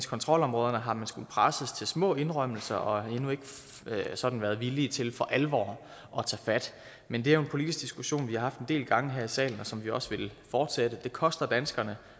kontrolområderne har skullet presses til små indrømmelser og endnu ikke sådan været villig til for alvor at tage fat men det er jo en politisk diskussion vi har haft en del gange her i salen og som vi også vil fortsætte det koster danskerne